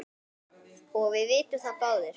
og við vitum það báðir.